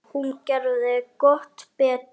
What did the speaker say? Hún gerði gott betur.